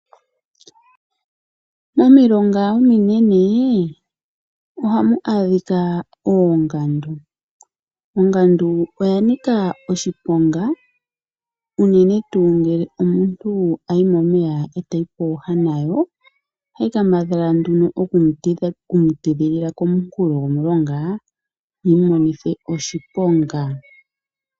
Momilonga ominene ohamu adhika oongandu. Ongandu oya nika oshiponga unene tuu ngele omuntu ayi momeya e tayi pooha nayo. Ohayi kambadhala nduno okumutidhilila kokule komunkulo gomulonga yi mu monithe oshiponga.